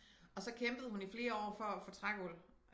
Og så kæmpede hun i flere år for at få trægulv